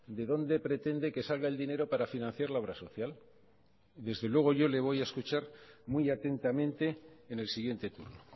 de dónde pretende que salga el dinero para financiar la obra social desde luego yo le voy a escuchar muy atentamente en el siguiente turno